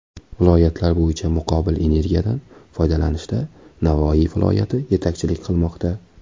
Viloyatlar bo‘yicha muqobil energiyadan foydalanishda Navoiy viloyati yetakchilik qilmoqda.